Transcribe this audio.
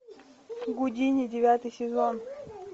гудини девятый сезон